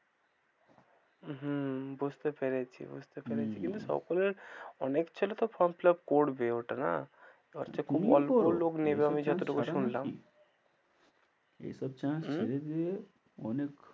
হম বুঝতে পেরেছি বুঝতে পেরেছি হম কিন্তু সকলের অনেক ছেলেতো form fill up করবে ওটা না, তুমিও করো, এবার হচ্ছে খুব অল্প লোক নেবে আমি যত টুকু শুনলাম। এসব chance ছেড়ে দিলে অনেক,